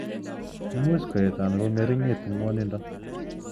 Much koet anan kongeringitu ngwonindo.